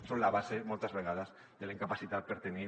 són la base moltes vegades de la incapacitat per tenir